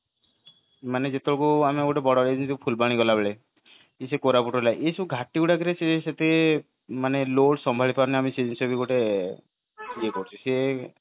ମାନେ ଯେତକ ଆମେ ଗୋଟେ ବଡ ମାନେ ଫୁଲବାଣୀ ଗଲା ବେଳେ କି ସେ koraput ହେଲା ଏଇ ସବୁ ଘାଟି ଗୁଡାକରେ ସେ ସେଠି load ସମ୍ଭାଳି ପାରେନି ଆମେ ସେ ବି ଗୋଟେ ଇଏ କରୁଛେ